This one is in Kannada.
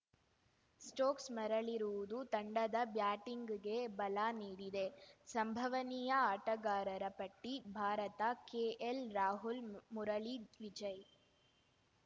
ಸ್ಟೋಕ್ಸ‌ ಮರಳಿರುವುದು ತಂಡದ ಬ್ಯಾಟಿಂಗ್‌ಗೆ ಬಲ ನೀಡಿದೆ ಸಂಭವನೀಯ ಆಟಗಾರರ ಪಟ್ಟಿ ಭಾರತ ಕೆಎಲ್‌ರಾಹುಲ್‌ ಮುರಳಿ ವಿಜಯ್‌